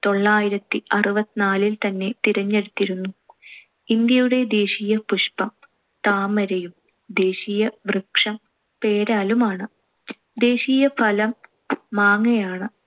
ത്തൊള്ളായിരത്തി അറുപത്തിനാലിൽ തന്നെ തിരഞ്ഞെടുത്തിരുന്നു. ഇന്ത്യയുടെ ദേശീയ പുഷ്പം താമരയും, ദേശീയ വൃക്ഷം പേരാലുമാണ്. ദേശീയ ഫലം മാങ്ങയാണ്‌.